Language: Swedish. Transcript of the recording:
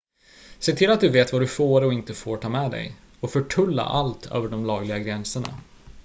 se till att du vet vad du får och inte får ta med dig och förtulla allt över de lagliga gränserna